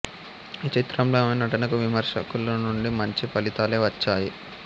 ఈ చిత్రంలో ఆమె నటనకు విమర్శకుల నుండి మంచి ఫలితాలే వచ్చాయి